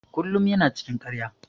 Kullum ya na cikin ƙarya.